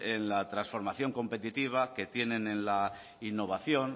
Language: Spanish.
en la transformación competitiva que tienen en la innovación